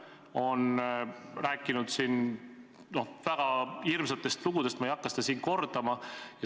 Ta on rääkinud väga hirmsatest lugudest, ma ei hakka neid siin kordama.